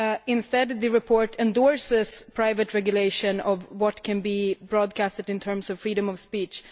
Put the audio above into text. Instead, the report endorses private regulation of what can be broadcast in terms of freedom of speech.